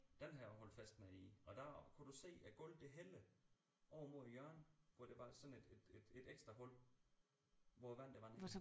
Den har jeg holdt fest nede i og der kunne du se at gulvet det hælder over mod hjørnet hvor der var sådan et et et ekstra hul hvor vandet det rendte ned i